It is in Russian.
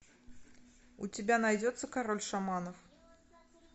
у тебя найдется король шаманов